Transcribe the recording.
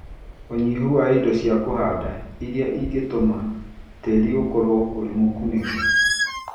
ũnyihu wa indo cia kũhanda iria ingĩtũma tĩri ũkorũo ũrĩ mũkunĩke.